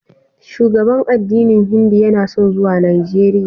Shugaban addinin Hindu yana son zuwa Najeriya.